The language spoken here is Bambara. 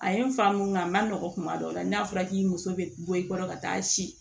A ye n fa mun ŋa a ma nɔgɔn kuma dɔ la n'a fɔra k'i muso be bɔ i kɔrɔ ka taa si